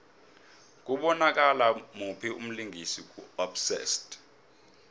kubonakala muphi umlingisi ku obsessed